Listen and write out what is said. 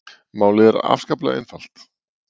Málið er afskaplega einfalt